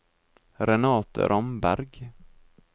Renate Ramberg